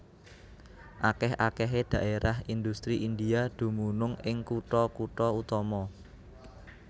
Akèh akèhé dhaérah indhustri India dumunung ing kutha kutha utama